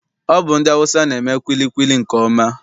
Ọ bụ ndị Awụsa na-eme kwilikwili nke ọma.